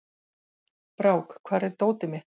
Brák, hvar er dótið mitt?